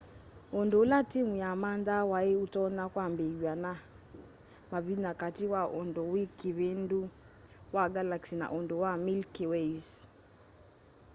undu ula timu yamanthaa wai utonya kwambiiw'a ni mavinya kati wa undu wi kivindu wa galaxy na undu wa milky way's